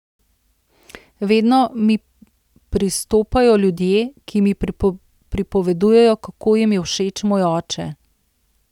Vedno mi pristopajo ljudje, ki mi pripovedujejo, kako jim je všeč moj oče.